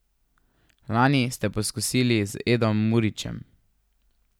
Lani ste poskusili z Edom Murićem.